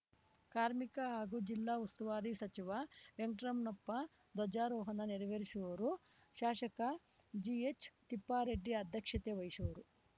ಕಾರ್ಮಿಕ ಹಾಗೂ ಜಿಲ್ಲಾ ಉಸ್ತುವಾರಿ ಸಚಿವ ವೆಂಕಟ್ರಮಣಪ್ಪ ಧ್ವಜಾರೋಹಣ ನೆರವೇರಿಸುವರು ಶಾಸಕ ಜಿಎಚ್‌ತಿಪ್ಪಾರೆಡ್ಡಿ ಅಧ್ಯಕ್ಷತೆ ವಹಿಸುವರು